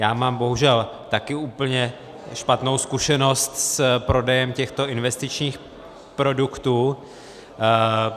Já mám bohužel také úplně špatnou zkušenost s prodejem těchto investičních produktů.